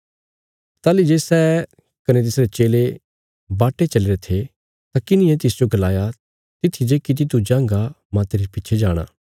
ताहली जे सै कने तिसरे चेले बाटे चलीरे थे तां किन्हिये तिसजो गलाया तित्थी जे किति तू जांगा माह तेरे पिच्छे जाणा